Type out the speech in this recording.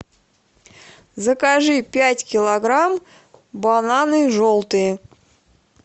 закажи пять килограмм бананы желтые